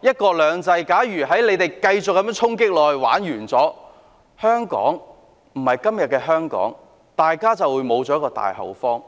一國兩制"，香港會因為他們繼續這樣衝擊而完蛋，不再是今天的香港，大家便會失去這個大後方。